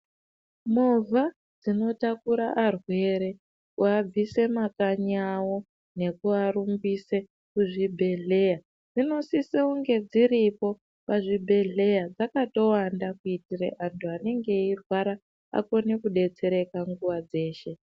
Movha dzinotakura arwere kuabvise mumakanyi avo nekuvarumbise kuzvibhedhleya. Dzinosise kunge dziripo pazvibhedhleya dzakatowanda kuti antu anenge eirwara akona kubetsereka nguva dzeshe.